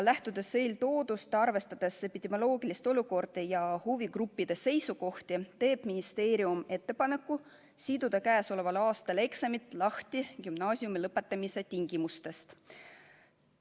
Arvestades epidemioloogilist olukorda ja huvigruppide seisukohti, teeb ministeerium ettepaneku siduda käesoleval aastal eksamid lahti gümnaasiumi lõpetamise tingimustest.